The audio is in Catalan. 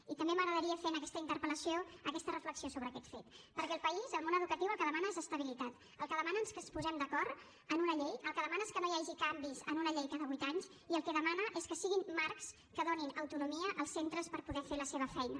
i també m’agradaria fer en aquesta interpel·lació aquesta reflexió sobre aquest fet perquè el país el món educatiu el que demana és estabilitat el que demana és que ens posem d’acord en una llei el que demana és que no hi hagi canvis en una llei cada vuit anys i el que demana és que siguin marcs que donin autonomia als centres per poder fer la seva feina